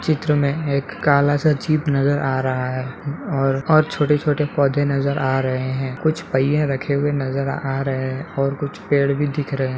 चित्र में एक काला सा जीप नज़र आ रहा है और और छोटे - छोटे पौधे नज़र आ रहे हैं कुछ पहिये रखे हुए नज़र आ रहे हैं और कुछ पेड़ भी दिख रहे --